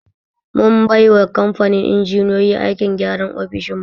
Mun bai yawa kamfanin injiniyoyi aikin gyanra ofishin mu